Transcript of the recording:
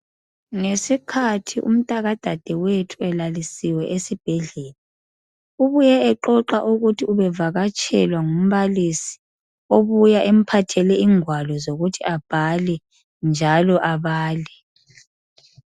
ngesikhathi umntaka dadewethu elalisiwe esibhedlela ubuye exoxa ukuthi ubevakatshelwa ngumbalisi obuya emphathele ingwalo zokuthi kabhale njalo abale